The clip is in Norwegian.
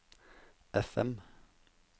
FM